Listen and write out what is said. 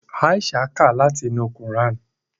Aisha ká láti inú kuran.